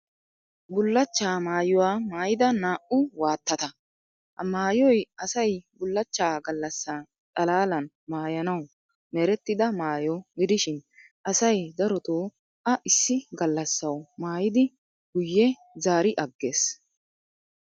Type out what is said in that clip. Bullachchaa mayuwa mayida naa"u waattata. Ha mayyoy asay bullachchaa gallassan xalaalan mayanawu merettida mayyo gidishin asay daroto a issi gallassawu mayyidi guyye zaariyagges.